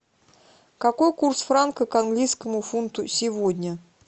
какой курс франка к английскому фунту сегодня